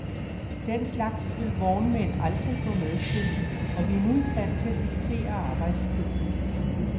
Den slags vil vognmænd aldrig gå med til, og vi er nu i stand til at diktere arbejdstiden.